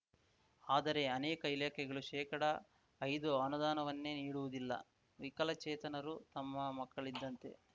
ಆದರೆ ಅನೇಕ ಇಲಾಖೆಗಳು ಶೇಕಡಐದು ಅನುದಾನವನ್ನೇ ನೀಡುವುದಿಲ್ಲ ವಿಕಚೇತನರೂ ತಮ್ಮ ಮಕ್ಕಳಿದ್ದಂತೆ